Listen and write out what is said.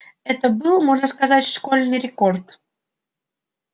это был можно сказать школьный рекорд